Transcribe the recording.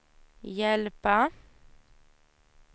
hjälpa